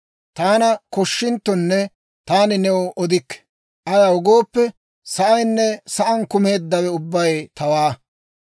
Taana koshinttonne, taani new odikke: ayaw gooppe, sa'aynne sa'aan kumeeddawe ubbay tawaa.